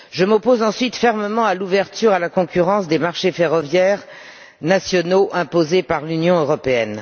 Je m'oppose ensuite fermement à l'ouverture à la concurrence des marchés ferroviaires nationaux imposée par l'Union européenne.